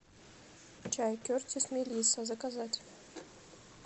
чай кертис мелисса заказать